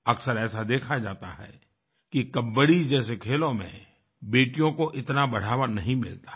अक्सर ऐसा देखा जाता है कि कबड्डी जैसे खेलों में बेटियों को इतना बढ़ावा नहीं मिलता है